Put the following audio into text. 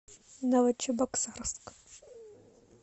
новочебоксарск